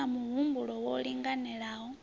u na muhumbulo wo linganelaho